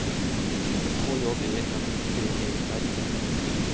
K J E M P E R